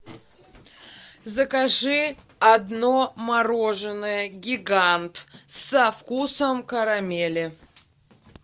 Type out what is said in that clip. закажи одно мороженое гигант со вкусом карамели